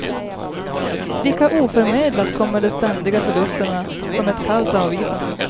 Lika oförmedlat kommer de ständiga förlusterna som ett kallt avvisande.